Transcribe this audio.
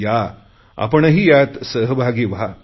या आपणही यात सहभागी व्हा